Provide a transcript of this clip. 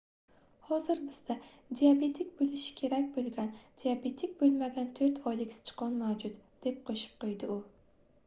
hozir bizda diabetik boʻlishi kerak boʻlgan diabetik boʻlmagan 4 oylik sichqon mavjud deb qoʻshib qoʻydi u